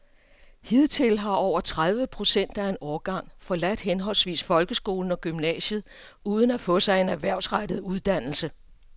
Hidtil har over tredive procent af en årgang forladt henholdsvis folkeskolen og gymnasiet uden at få sig en erhvervsrettet uddannelse.